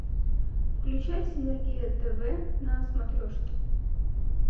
включай синергия тв на смотрешке